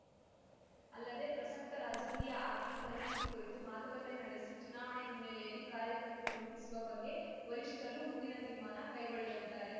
ಅಲ್ಲದೇ ಪ್ರಸಕ್ತ ರಾಜಕೀಯ ಆರ್ಥಿಕ ಪರಿಸ್ಥಿತಿ ಕುರಿತು ಮಾತುಕತೆ ನಡೆಸಿ ಚುನಾವಣೆ ಹಿನ್ನೆಲೆಯಲ್ಲಿ ಕಾರ್ಯತಂತ್ರ ರೂಪಿಸುವ ಬಗ್ಗೆ ವರಿಷ್ಠರು ಮುಂದಿನ ತೀರ್ಮಾನ ಕೈಗೊಳ್ಳಲಿದ್ದಾರೆ